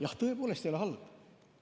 Jah, tõepoolest ei ole halb.